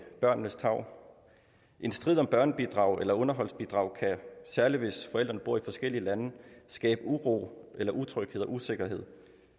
børnenes tarv en strid om børnebidrag eller underholdsbidrag kan særlig hvis forældrene bor i forskellige lande skabe uro eller utryghed og usikkerhed